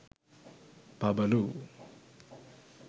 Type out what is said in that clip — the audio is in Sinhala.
pabalu